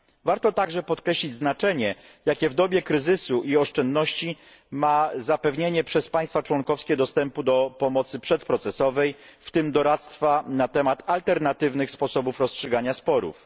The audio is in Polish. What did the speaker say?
Warto także podkreślić znaczenie, jakie w dobie kryzysu i oszczędności ma zapewnienie przez państwa członkowskie dostępu do pomocy przedprocesowej, w tym doradztwa na temat alternatywnych sposobów rozstrzygania sporów.